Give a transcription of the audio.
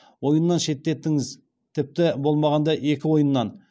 ойыннан шеттетіңіз тіпті болмағанда екі ойыннан